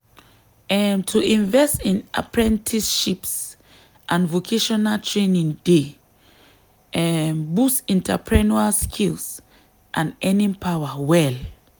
um to invest for apprenticeships and vocational training dey um boost entrepreneurial skills and earning power well.